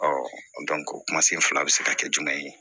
o kuma senfu bɛ se ka kɛ jumɛn ye